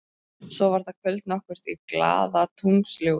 Svo var það kvöld nokkurt í glaðatunglsljósi.